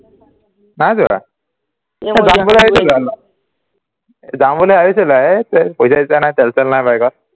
নাই যোৱা যাম বুলি ভাবিছিলো এই পইচা-চইচা নাই তেল-চেল নাই বাইকত